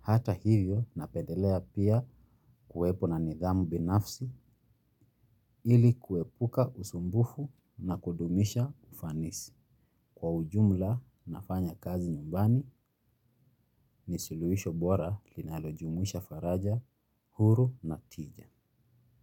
Hata hivyo napendelea pia kuwepo na nidhamu binafsi ili kuepuka usumbufu na kudumisha ufanisi. Kwa ujumla nafanya kazi nyumbani ni suluhisho bora linalojumuisha faraja, huru na tija.